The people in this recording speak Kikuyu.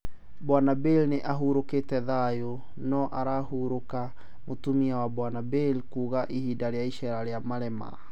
"Bwanbale nĩahurũkire thayũ...no arahurũka,"Mũtumia wa Bwanbale kuuga hĩndĩ ya iceera rĩa Malema